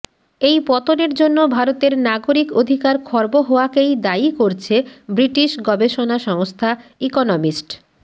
এই পতনের জন্য ভারতের নাগরিক অধিকার খর্ব হওয়াকেই দায়ী করছে ব্রিটিশ গবেষণা সংস্থা ইকনমিস্ট